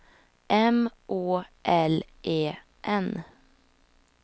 M Å L E N